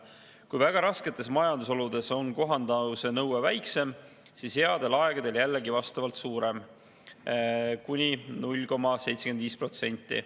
Kui väga rasketes majandusoludes on kohandumise nõue väiksem, siis headel aegadel jällegi vastavalt suurem – kuni 0,75%.